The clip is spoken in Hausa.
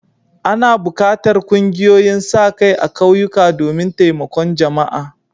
Ana buƙatar ƙungiyoyin sa-kai a ƙauyuka domin taimakon jama'a.